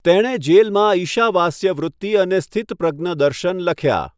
તેણે જેલમાં 'ઈશાવાસ્ય વૃત્તિ' અને 'સ્થિતપ્રજ્ઞ દર્શન' લખ્યા.